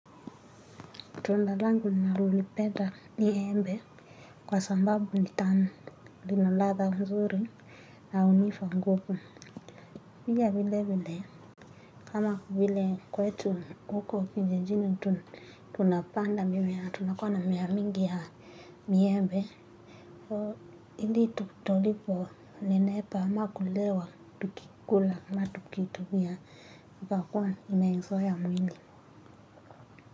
Tunda langu nanalolipenda ni embe kwa sambabu ni tamu lina ladha mzuri na unifa nguvu. Pia vile vile kama vile kwetu huku kijijini tunapanda mimea tunakua na mimea mingi ya miembe. So ili tuliponepa ama kulewa tukikula ama tukiitumia ikakua imeizoea mwili.